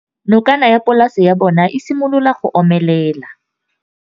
Nokana ya polase ya bona, e simolola go omelela.